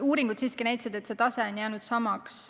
Uuringud siiski on näidanud, et see tase on jäänud samaks.